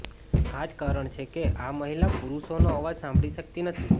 આ જ કારણ છે કે આ મહિલા પુરુષોનો અવાજ સાંભળી શકતી નથી